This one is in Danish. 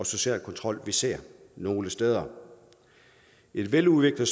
sociale kontrol vi ser nogle steder et veludviklet